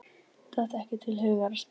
Datt ekki til hugar að spyrja.